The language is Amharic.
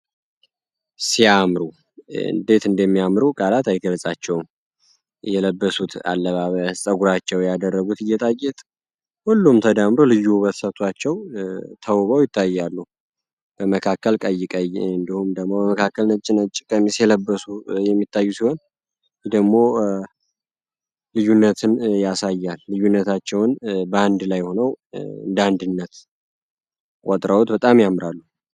ሲያአምሩ እንዴት እንደሚያምሩ ቃላት አይገለፃቸውም የለበሱት አለባበ ጸጉራቸው ያደረጉት እየጣየት ሁሉም ተዳምሩ ልዩ በትሰቷቸው ተውበው ይታያሉ በመካከል ቀይቀይ እንደሁም ደሞ በመካከልነጭነት ጭቀሚ ሲየለበሱ የሚታዩ ሲሆን ደግሞ ልዩነትን ያሳያል ልዩነታቸውን በአንድ ላይ ሆነው እንዳንድነት ቆጥረውት በጣም ያምራሉ፡፡